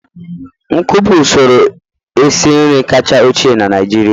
nkụ bụ usoro esi nri kacha ochie na Naịjirịa.